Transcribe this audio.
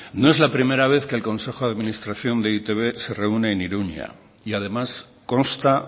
no es la primera vez que el consejo de administración de e i te be se reúne en iruña y además consta